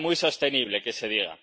parece muy sostenible que se diga!